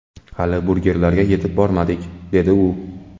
Hali burgerlarga yetib bormadik”, dedi u.